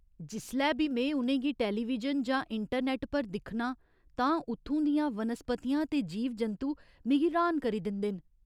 जिसलै बी में उ'नेंगी टैलीविजन जां इंटरनैट्ट पर दिखन्नां तां उत्थूं दियां वनस्पतियां ते जीव जंतु मिगी र्‌हान करी दिंदे न।